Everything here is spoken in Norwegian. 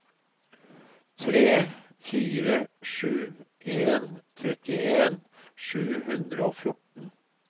tre fire sju en trettien sju hundre og fjorten